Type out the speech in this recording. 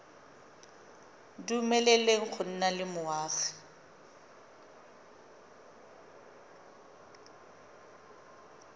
dumeleleng go nna le boagi